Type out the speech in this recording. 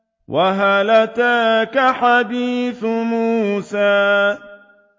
وَهَلْ أَتَاكَ حَدِيثُ مُوسَىٰ